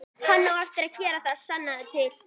Hann á eftir að gera það, sannaðu til.